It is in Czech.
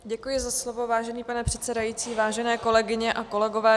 Děkuji za slovo, vážený pane předsedající, vážené kolegyně a kolegové.